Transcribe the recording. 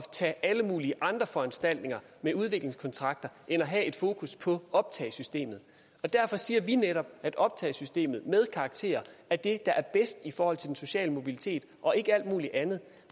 tage alle mulige andre foranstaltninger med udviklingskontrakter end at have et fokus på optagesystemet derfor siger vi netop at optagesystemet med karakterer er det der er bedst i forhold til den sociale mobilitet og ikke alt mulig andet